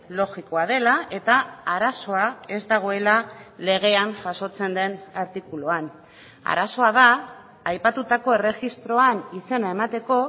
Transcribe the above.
logikoa dela eta arazoa ez dagoela legean jasotzen den artikuluan arazoa da aipatutako erregistroan izena emateko